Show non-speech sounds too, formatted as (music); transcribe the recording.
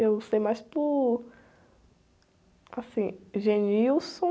Eu sei mais por... Assim, (unintelligible)